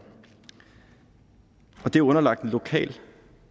og det er underlagt en lokal